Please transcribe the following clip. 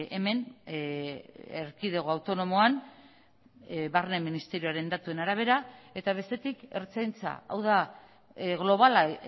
hemen erkidego autonomoan barne ministerioaren datuen arabera eta bestetik ertzaintza hau da globala